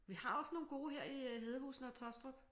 Vi har også nogle gode her i Hedehusene og Taastrup